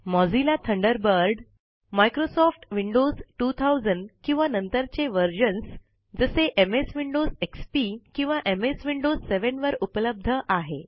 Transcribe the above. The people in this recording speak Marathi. मोझिल्ला थंडरबर्ड मायक्रोसॉफ्ट विंडोज 2000 व त्यानंतरचे वर्जन एमएस विंडोज एक्सपी किंवा एमएस विंडोज 7 वर उपलब्ध आहे